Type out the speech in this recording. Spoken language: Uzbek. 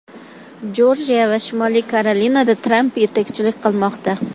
Jorjiya va Shimoliy Karolinada Tramp yetakchilik qilmoqda.